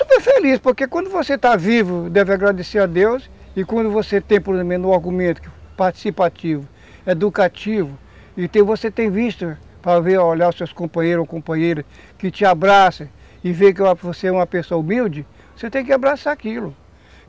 Super feliz, porque quando você está vivo, deve agradecer a Deus, e quando você tem, por exemplo, um argumento participativo, educativo, e você tem vista, para ver, olhar os seus companheiros ou companheiras, que te abraçam, e vê que você é uma pessoa humilde, você tem que abraçar aquilo.